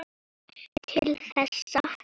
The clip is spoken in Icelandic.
Til þessa.